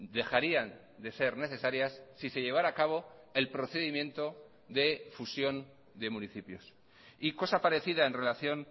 dejarían de ser necesarias si se llevara a cabo el procedimiento de fusión de municipios y cosa parecida en relación